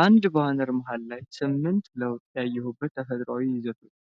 አንድ ባነር መሃል ላይ "8 ለውጥ ያየሁበት ተፈጥሯዊ ዘይቶች!"